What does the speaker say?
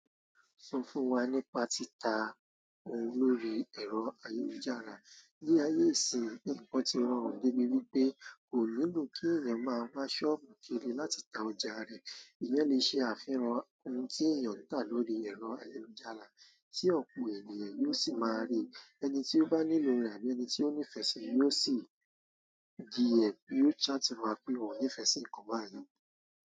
Sún fún wa nípa títa olórí ẹ̀rọ ayélujára. Bí ayé ìsinìí ń kọ́ ti rọrùn débi wípé kò nílò kí èèyàn máa wá ṣọ́ọ̀bù kiri láti ta ọjà rẹ̀, ìyẹ́ lè ṣe àfihàn ohun tí èèyàn ń tà lórí ẹ̀rọ ayélujára, tí ọ̀pọ̀ ènìyàn yóò sì máa rí. Ẹni ti o bá nílò rẹ àbí ẹni ti o ba nifẹ sí yóò sì chat wa pé òhun nifẹ si nkán bai.